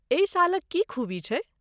एहि शालक की खूबी छै?